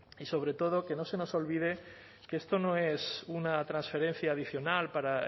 y sobre todo que no se nos olvide que esto no es una transferencia adicional para